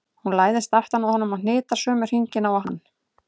Hún læðist aftan að honum og hnitar sömu hringina og hann.